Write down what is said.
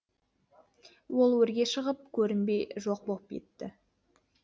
ол өрге шығып көрінбей жоқ боп кетті